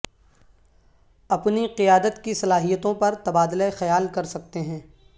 اپنی قیادت کی صلاحیتوں پر تبادلہ خیال کر سکتے ہیں